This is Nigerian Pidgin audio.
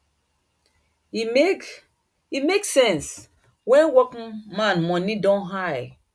e make e make sense when workman money don high